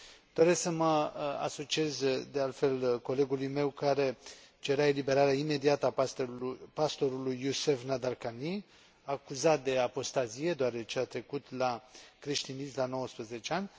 Doresc să mă asociez, de altfel, colegului meu care cerea eliberarea imediată a pastorului Youcef Nadarkhani, acuzat de apostazie, deoarece a trecut la creștinism la 19 ani.